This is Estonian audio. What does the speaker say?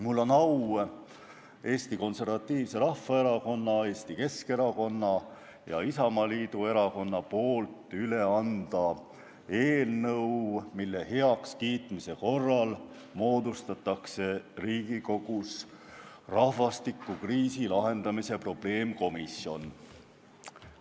Mul on au anda Eesti Konservatiivse Rahvaerakonna, Eesti Keskerakonna ja Isamaa Erakonna nimel üle eelnõu, mille heakskiitmise korral moodustatakse Riigikogus rahvastikukriisi lahendamise probleemkomisjon.